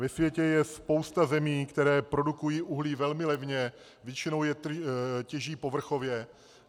Ve světě je spousta zemí, které produkují uhlí velmi levně, většinou je těží povrchově.